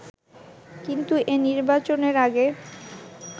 কিন্তু এ নির্বাচনের আগে